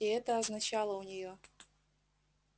и это означало у неё